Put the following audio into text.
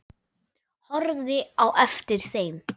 Horfði á eftir þeim.